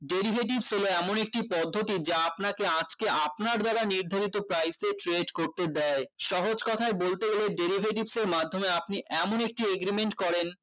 derivatives হলো এমন একটি পদ্ধতি যা আপনাকে আটকে আপনার দ্বারা নির্ধারিত price এর trade করতে দেয় সহজ কথায় বলতে গেলে derivatives এর মাধ্যমে আপনি এমন একটি agreement করেন